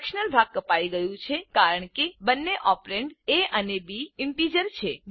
fractional ભાગ કપાઈ ગયું છે કારણ કે બંને ઓપરેન્ડ એ અને બી ઈન્ટીજર છે